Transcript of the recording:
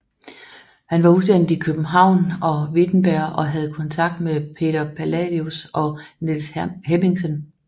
Han var uddannet i København og Wittenberg og havde kontakt med Peder Palladius og Niels Hemmingsen